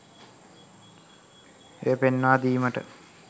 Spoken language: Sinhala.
එය පෙන්වා දීමට